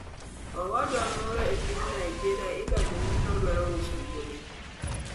Owadwa moro e piny Nigeria idonjone ni nodwaro uso wuode